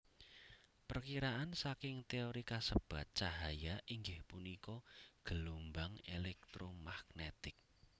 Perkiraan saking téori kasebat cahaya inggih punika gelombang elektromagnetik